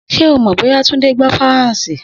Sé o mò bó̩yá Túndé gbó̩ Faransé?